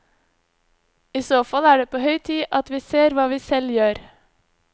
I så fall er det på høy tid at vi ser hva vi selv gjør.